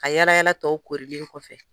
Ka yaala yaala tɔw korilen kɔfɛ.